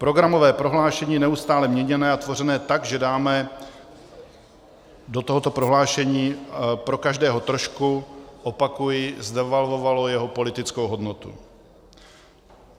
Programové prohlášení neustále měněné a tvořené tak, že dáme do tohoto prohlášení pro každého trošku, opakuji, zdevalvovalo jeho politickou hodnotu.